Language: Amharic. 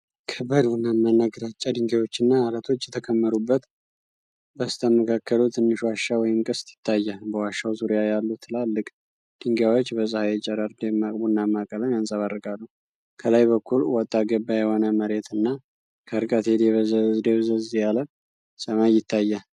ከባድ ቡናማና ግራጫ ድንጋዮችና ዓለቶች የተከመሩበት፣ በስተመካከሉ ትንሽ ዋሻ ወይም ቅስት ይታያል። በዋሻው ዙሪያ ያሉ ትላልቅ ድንጋዮች በፀሐይ ጨረር ደማቅ ቡናማ ቀለም ያንጸባርቃሉ። ከላይ በኩል ወጣ ገባ የሆነ መሬትና ከርቀት የደብዘዝ ያለ ሰማይ ይታያል።